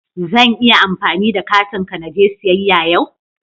Zan iya amfani da katin ka naje siyayya yau?